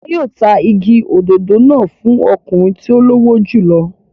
Wọn yóò ta igi òdòdó náà fún ọkùnrin tí ó lówó jù lọ.